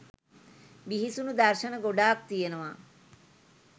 බිහිසුණු දර්ශන ගොඩාක් තියනවා